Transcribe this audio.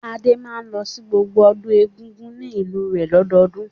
Adé máa ń lọ sí gbogbo ọdún Egungun ní ìlú rẹ̀ lọ́dọọdún.